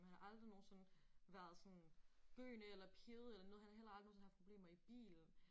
Han har aldrig nogensinde været sådan gøende eller pivet eller noget han har heller aldrig nogensinde haft problemer i bilen